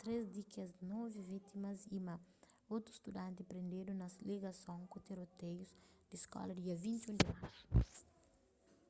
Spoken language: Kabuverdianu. três di kes novi vítimas y ma otu studanti prendedu na ligason ku tiroteius di skola dia 21 di marsu